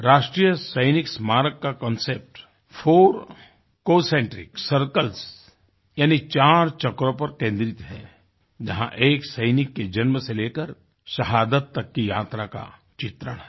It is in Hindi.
राष्ट्रीय सैनिक स्मारक का कॉन्सेप्ट फोर कॉन्सेंट्रिक Circlesयानी चार चक्रों पर केंद्रित है जहाँ एक सैनिक के जन्म से लेकर शहादत तक की यात्रा का चित्रण है